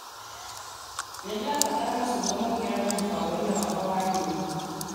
Nĩndĩrabatara macungwa mongererwo mũbango-inĩ wakwa wa nyeni.